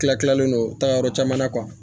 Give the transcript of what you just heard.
Tila tilalen don tagayɔrɔ caman na kuwa